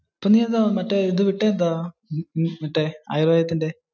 പിന്നെ എന്ത് മറ്റേ വിട്ടത് എന്താ. മറ്റേ ആയുർവേദത്തിന്റെ.